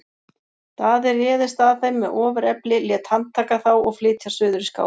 Daði réðist að þeim með ofurefli, lét handtaka þá og flytja suður í Skálholt.